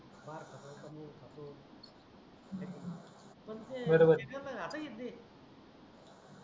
पण ते बरोबर आता ही येते